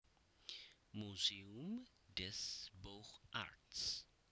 Muséum des Beaux Arts